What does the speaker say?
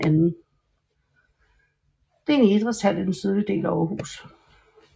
Det er en idrætshal i den sydlige del af Aarhus